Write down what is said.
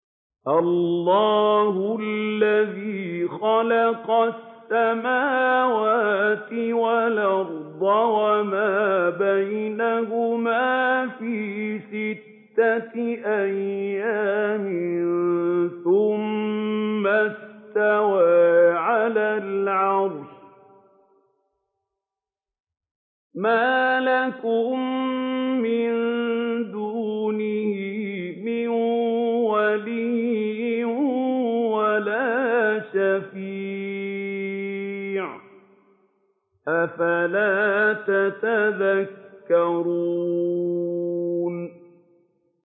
اللَّهُ الَّذِي خَلَقَ السَّمَاوَاتِ وَالْأَرْضَ وَمَا بَيْنَهُمَا فِي سِتَّةِ أَيَّامٍ ثُمَّ اسْتَوَىٰ عَلَى الْعَرْشِ ۖ مَا لَكُم مِّن دُونِهِ مِن وَلِيٍّ وَلَا شَفِيعٍ ۚ أَفَلَا تَتَذَكَّرُونَ